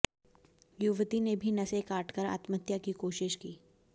युवती ने भी नसें काटकर आत्महत्या की कोशिश की